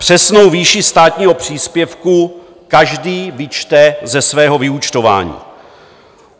Přesnou výši státního příspěvku každý vyčte ze svého vyúčtování.